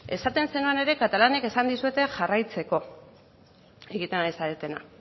esaten zenuen ere katalanek esan dizuete jarraitzeko egiten ari zaretena